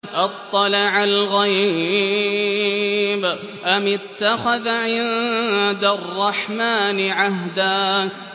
أَطَّلَعَ الْغَيْبَ أَمِ اتَّخَذَ عِندَ الرَّحْمَٰنِ عَهْدًا